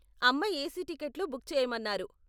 అమ్మ ఏసీ టికెట్లు బుక్ చేయమన్నారు.